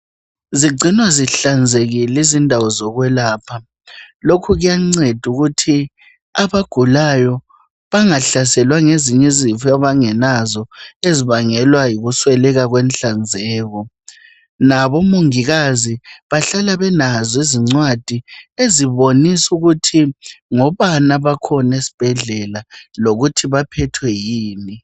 Zigcinwa zihlanzekile izindawo zokwelapha. Lokhu kuyanceda ukuthi abagulayo bangahlaselwa ngezinye izifo abangelazo ezibangelwa yikusweleka kwenhlanzeko. Labomongikazi bahlala belazo izincwadi ezibonisa ukuthi ngobani abakhona esibhedlela lokuthi baphethwe yini.